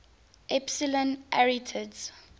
epsilon arietids